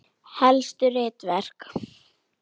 Helstu ritverk